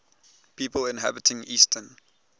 people inhabiting eastern